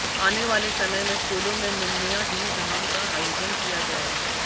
आने वाले समय में स्कूलों में मुन्नियां दी धाम का आयोजन किया जाएगा